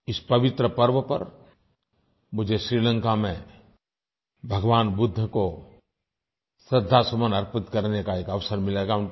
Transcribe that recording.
इस पवित्र पर्व पर मुझे श्रीलंका में भगवान बुद्ध को श्रद्धासुमन अर्पित करने का एक अवसर मिलेगा